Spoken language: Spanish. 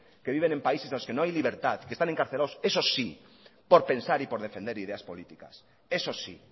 que viven en países en los que no hay libertad que están encarcelados esos sí por pensar y por defender ideas políticas esos sí